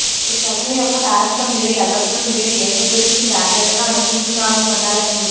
ఈ ప్రకటన యొక్క సారాంశం మీరు ఎల్లప్పుడూ మీరు ఏమి గురించి జాగ్రత్తగా అనుకుంటున్నాను ఉండాలని ఉంది